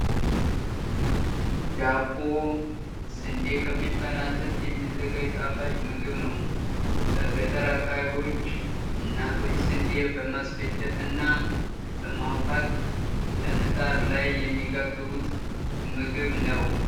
ዳቦ ስንዴ ከሚባል አዝርት የሚዘጋጅ ጣፋጭ ምግብ ነው። በገጠር አካባቢዎች እናቶች ስንዴ በማስፈጨት እና በማቡካት በምጣድ ላይ የሚጋግሩት ምግብ ነው።